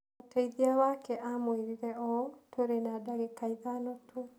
Mũteithĩrĩria wake aamwĩrire ũũ: "Tũrĩ na ndagĩka ithano tu."